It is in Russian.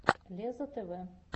лезза тв